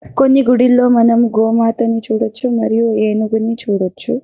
కొన్ని గుడిలో మనం గోమాతను చూడొచ్చు. ఆ మరియు ఏనుగును చూడొచ్చు.